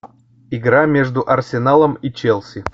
игра между арсеналом и челси